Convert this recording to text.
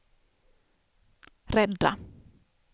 rädda